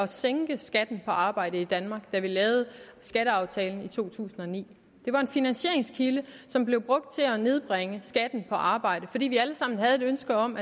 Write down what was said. sænke skatten på arbejde i danmark da vi lavede skatteaftalen i to tusind og ni det var en finansieringskilde som blev brugt til at nedbringe skatten på arbejde fordi vi alle sammen havde et ønske om